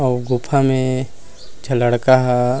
अउ गुफा में एक झन लड़का हा--